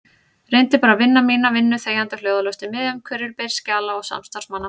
Reyndi bara að vinna mína vinnu þegjandi og hljóðalaust í miðjum hvirfilbyl skjala og samstarfsmanna.